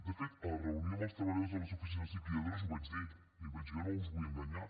de fet a la reunió amb els treballadors de les oficines liquidadores ho vaig dir i vaig dir jo no us vull enganyar